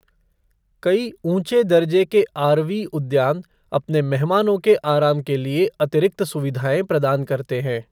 कई ऊँचे दर्जे के आरवी उद्यान अपने मेहमानों के आराम के लिए अतिरिक्त सुविधाएँ प्रदान करते हैं।